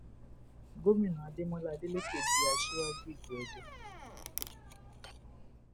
gomina adémọlá adélèkè di aṣíwájú ìlú èdè